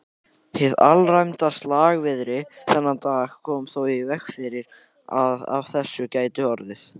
Hið alræmda slagviðri þennan dag kom þó í veg fyrir að af þessu gæti orðið.